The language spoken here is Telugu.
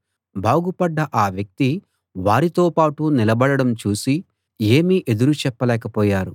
బాగుపడ్డ ఆ వ్యక్తి వారితోపాటు నిలబడడం చూసి ఏమీ ఎదురు చెప్పలేకపోయారు